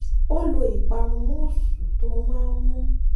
ó lo ìparun mousse tó máa ń mú